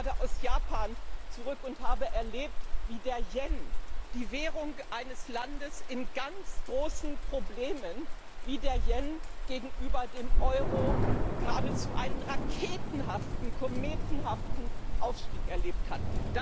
Ich komme gerade aus Japan zurück und habe erlebt, wie der Yen, die Währung eines Landes in ganz großen Problemen, gegenüber dem Euro geradezu einen raketenhaften, kometenhaften Aufstieg erlebt hat.